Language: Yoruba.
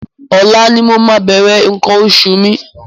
Ọ̀la ni mo máa bẹ̀rẹ̀ nǹkan oṣù mi.